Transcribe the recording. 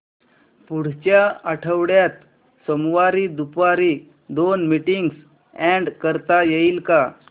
पुढच्या आठवड्यात सोमवारी दुपारी दोन मीटिंग्स अॅड करता येतील का